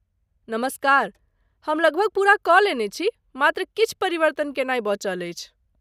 नमस्कार, हम लगभग पूरा कऽ लेने छी, मात्र किछु परिवर्तन केनाइ बचल अछि।